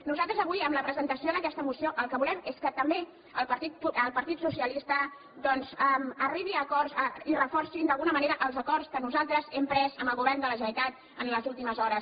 nosaltres avui amb la presentació d’aquesta moció el que volem és que també el partit socialista doncs arribi a acords i reforci d’alguna manera els acords que nosaltres hem pres amb el govern de la generalitat en les últimes hores